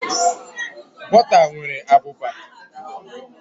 Bọta nwere abụba.